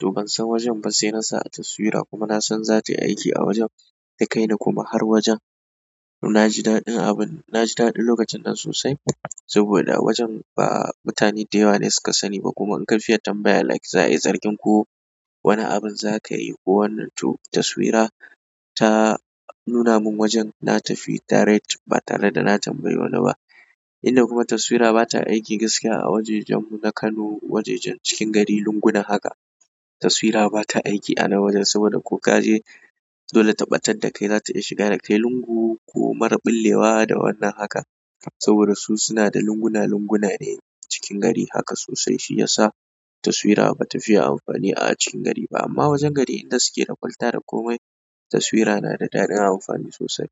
To ban san wajen ba sai na sa a taswira, kuma na san zatayi aiki a wajen, ta kai ni kuma har wajen. Na ji daɗin abun, na ji daɗin lokacin nan sosai saboda wajen ba mutane da yawa ne suka sani ba kuma in ka fiye tambaya like za'a yi zargin ko wani abun za ka yi ko wannan to taswira ta nuna mun wajen na tafi direct ba tare da na tambayi wani ba. Inda kuma taswira bata aiki gaskiya a wajajen mu na Kano, wajajen cikin gari lunguna haka. Taswira bata aiki a nan wajen, saboda ko ka je dole ta ɓatar da kai zata iya shiga da kai lungu ko marar bullewa da wannan haka. Saboda su suna da lunguna lunguna ne cikin gari haka sosai shi yasa taswira batafi yin amfani a cikin gari ba amma wajen gari inda suke da kwalta da komai taswira na da daɗin amfani sosai.